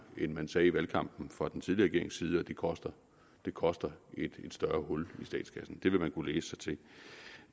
end man sagde i valgkampen fra den tidligere side og det koster det koster et større hul i statskassen det vil man kunne læse sig til